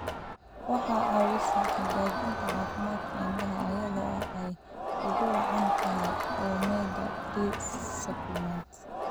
Waxay caawisaa hagaajinta caafimaadka indhaha iyada oo ay ugu wacan tahay omega-3 supplements.